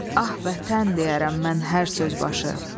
Ah vətən deyərəm mən hər bir söz başı.